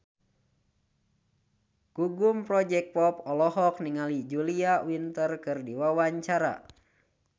Gugum Project Pop olohok ningali Julia Winter keur diwawancara